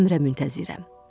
Əmrə müntəzirəm.